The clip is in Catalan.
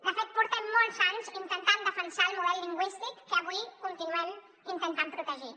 de fet portem molts anys intentant defensar el model lingüístic que avui continuem intentant protegir